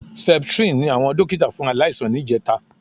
Septrin ni àwọn dókítà fún aláìsàn ní ìjẹta